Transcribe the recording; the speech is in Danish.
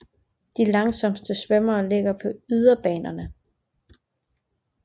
De langsomste svømmere ligger på yderbanerne